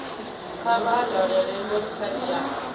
kha vha dalele website ya